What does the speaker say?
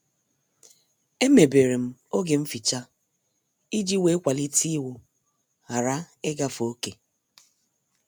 Emeberem oge mficha iji wee kwalite iwu ghara ịgafe oké.